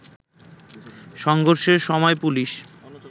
সংঘর্ষের সময় পুলিশ